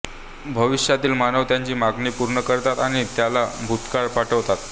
भविष्यातील मानव त्याची मागणी पूर्ण करतात आणि त्याला भुतकाळात पाठवतात